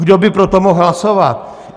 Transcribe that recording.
Kdo by pro to mohl hlasovat?